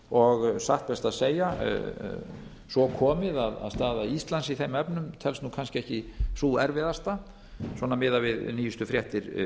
og satt best að segja svo komið að staða íslands í þeim efnum telst nú kannski ekki sú erfiðasta svona miðað við nýjustu fréttir